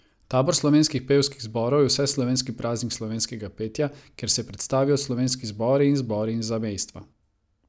Tabor slovenskih pevskih zborov je vseslovenski praznik slovenskega petja, kjer se predstavijo slovenski zbori in zbori iz zamejstva.